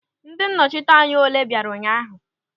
Ndị nnọchiteanya ole bịara ụnyaahụ?